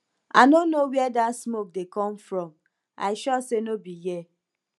i no know where dat smoke dey come from i sure say no be here